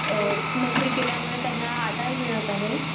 नोकरी केल्यामुळे त्यांना आधार मिळत आहे.